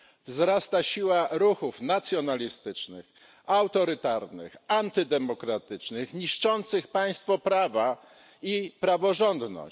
Wzrasta siła ruchów nacjonalistycznych, autorytarnych, antydemokratycznych niszczących państwo prawa i praworządność.